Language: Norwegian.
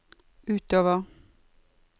utover